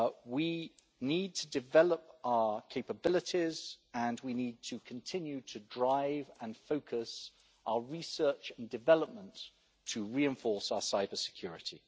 We need to develop our capabilities, and we need to continue to drive and focus our research and development to reinforce our cyber-security.